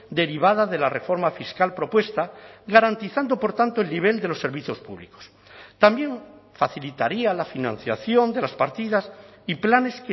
derivada de la reforma fiscal propuesta garantizando por tanto el nivel de los servicios públicos también facilitaría la financiación de las partidas y planes